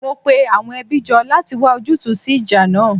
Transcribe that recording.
Mo pe àwọn ẹbí jọ láti wá ojútùú sí ìjà náà